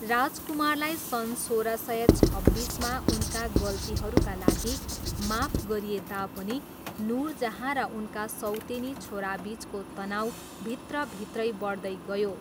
राजकुमारलाई सन् सोह्र सय छब्बिसमा उनका गल्तीहरूका लागि माफ गरिए तापनि नुरजहाँ र उनका सौतेनी छोराबिचको तनाउ भित्रभित्रै बढ्दै गयो।